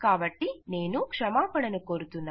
కాబట్టి నేను క్షమాపణను కోరుతున్నాను